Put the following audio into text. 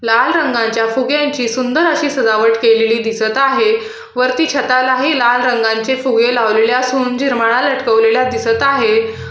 लाल रंगाच्या फुग्यांची सुंदर अशी सजावट केलेली दिसत आहे वरती छतालाही लाल रंगाचे फुगे लावलेले असून जिरमळा लटकवलेल्या दिसत आहेत.